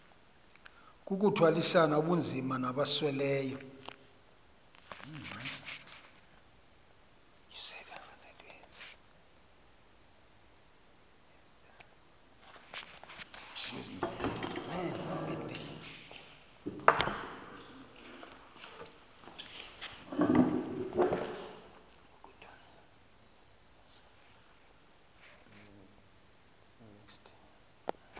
kukuthwalisana ubunzima nabasweleyo